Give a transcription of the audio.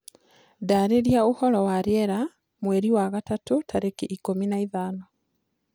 ndariria ũhoro wa rĩera mwerĩ wa gatatu tarĩkĩ ikumi na ithano